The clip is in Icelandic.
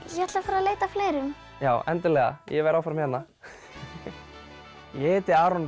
ég ætla að fara að leita að fleirum já endilega ég verð áfram hérna ég heiti Aron